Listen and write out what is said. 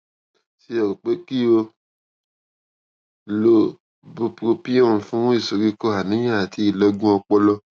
ṣé o rò pé kí o lo bupropion fún ìsoríkó àníyàn àti ìlọgun ọpọlọ